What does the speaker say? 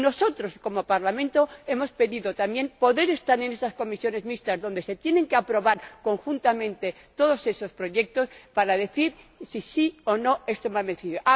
Y nosotros, como Parlamento, hemos pedido también poder estar en esas comisiones mixtas donde se tienen que aprobar conjuntamente todos esos proyectos para decir si sí o si no.